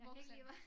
Voksen